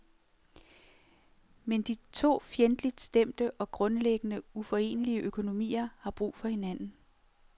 Men de to fjendtligt stemte og grundlæggende uforenlige økonomier har brug for hinanden.